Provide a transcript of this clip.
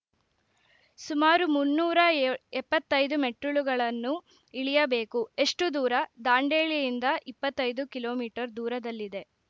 ಸುಮಾರು ಮುನ್ನೂರ ಎ ಎಪ್ಪತ್ತೈದು ಮೆಟ್ಟಿಲುಗಳನ್ನು ಇಳಿಯಬೇಕು ಎಷ್ಟುದೂರ ದಾಂಡೇಲಿಯಿಂದ ಇಪ್ಪತ್ತೈದು ಕಿಲೋ ಮೀಟರ್ ದೂರದಲ್ಲಿದೆ